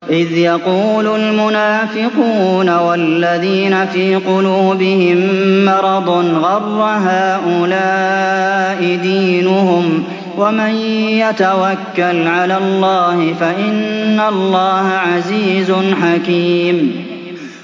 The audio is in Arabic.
إِذْ يَقُولُ الْمُنَافِقُونَ وَالَّذِينَ فِي قُلُوبِهِم مَّرَضٌ غَرَّ هَٰؤُلَاءِ دِينُهُمْ ۗ وَمَن يَتَوَكَّلْ عَلَى اللَّهِ فَإِنَّ اللَّهَ عَزِيزٌ حَكِيمٌ